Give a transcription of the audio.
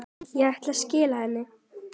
Ég ætlaði að skila henni.